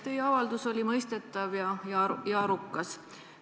Teie avaldus oli mõistetav ja arukas.